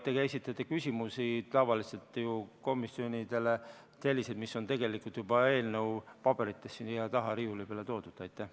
Te esitate ka küsimusi tavaliselt ju komisjonidele selliseid, mis on tegelikult juba eelnõu paberites, mis on siia taha riiuli peale toodud.